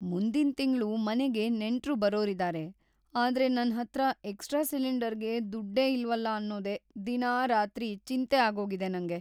ಮುಂದಿನ್ ತಿಂಗ್ಳು ಮನೆಗೆ ನೆಂಟ್ರು ಬರೋರಿದಾರೆ, ಆದ್ರೆ ನನ್ಹತ್ರ ಎಕ್ಸ್ಟ್ರಾ ಸಿಲಿಂಡರ್‌ಗೆ ದುಡ್ಡೇ ಇಲ್ವಲ್ಲ ಅನ್ನೋದೇ ದಿನಾ ರಾತ್ರಿ ಚಿಂತೆ ಆಗೋಗಿದೆ ನಂಗೆ.